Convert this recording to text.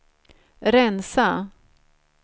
rensa